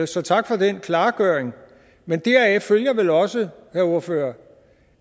så tak for den klargøring men deraf følger vel også herre ordfører